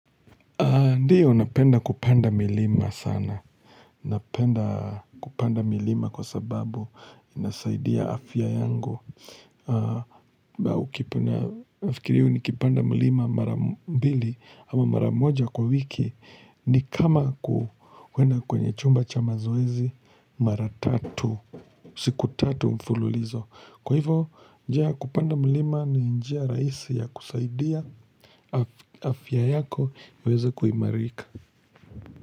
Ndiyo, napenda kupanda milima sana. Napenda kupanda milima kwa sababu inasaidia afya yangu. Nafikiri nikipanda milima mara mbili ama mara moja kwa wiki ni kama kuenda kwenye chumba cha mazoezi mara tatu. Siku tatu mfululizo. Kwa hivo, njia ya kupanda milima ni njia rahisi ya kusaidia afya yako iweze kuimarika.